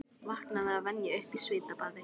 Vaknaði að venju upp í svitabaði.